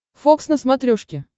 фокс на смотрешке